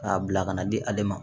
K'a bila ka na di ale ma